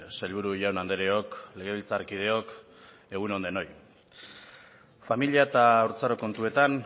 sailburu jaun andreok legebiltzarkideok egun on denoi familia eta haurtzaro kontuetan